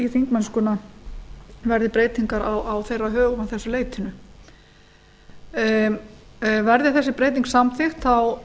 þingmennsku verði breytingar á þeirra högum að þessu leytinu verði þessi breyting samþykkt